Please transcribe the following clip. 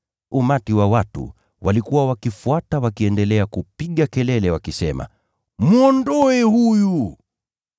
Umati wa watu ulikuwa ukifuata ukiendelea kupiga kelele ukisema, “Mwondoe huyu!”